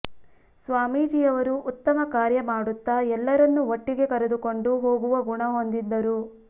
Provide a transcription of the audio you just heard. ಸ್ವಾಮೀಜಿ ಅವರು ಉತ್ತಮ ಕಾರ್ಯ ಮಾಡುತ್ತ ಎಲ್ಲರನ್ನೂ ಒಟ್ಟಿಗೆ ಕರೆದುಕೊಂಡು ಹೋಗುವ ಗುಣ ಹೊಂದಿದ್ದರು